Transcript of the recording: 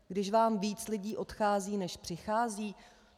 Když vám víc lidí odchází než přichází?